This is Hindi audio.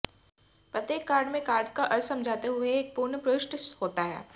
प्रत्येक कार्ड में कार्ड का अर्थ समझाते हुए एक पूर्ण पृष्ठ होता है